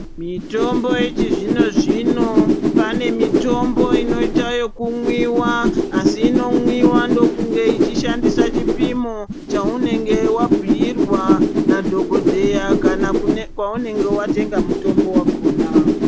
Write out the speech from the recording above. Mitombo yechizvino zvino pane mitombo inoitwa yekumwiwa asi inomwiwa ndokunge yeishandise chipimo chaunenge wabhuyirwa nadhokodheya kana kwaunenge watenga mutombo wakona.